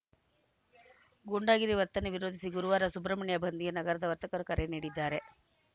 ಗೂಂಡಾಗಿರಿ ವರ್ತನೆ ವಿರೋಧಿಸಿ ಗುರುವಾರ ಸುಬ್ರಹ್ಮಣ್ಯ ಬಂದ್‌ಗೆ ನಗರದ ವರ್ತಕರು ಕರೆ ನೀಡಿದ್ದಾರೆ